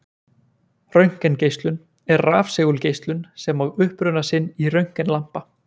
Röntgengeislun er rafsegulgeislun sem á uppruna sinn í röntgenlampa.